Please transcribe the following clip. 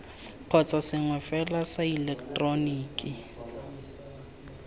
kgotsa sengwe fela sa ileketeroniki